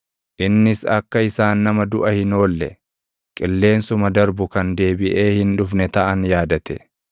Innis akka isaan nama duʼa hin oolle, qilleensuma darbu kan deebiʼee hin dhufne taʼan yaadate.